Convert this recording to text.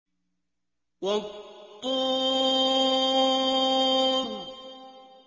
وَالطُّورِ